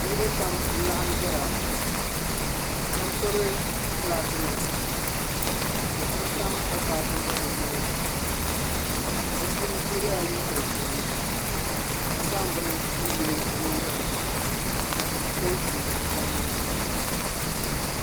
Niraba pam n laɣim ʒɛya. Sheba gbubi flaakinima ka sheba tam akpaaku zuɣu bɛ tooni. Bɛ puuni so yela liiga ʒee ka zaŋ bini n yili o nyingol ni ka so jinjam sabinli